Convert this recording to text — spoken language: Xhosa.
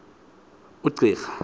umcirha